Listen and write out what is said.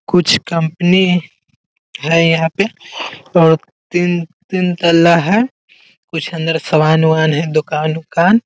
कुछ कंपनी है यहाँ पे और तीन-तीन तल्ला है कुछ अंदर सामान-वमान है दुकान-उमान --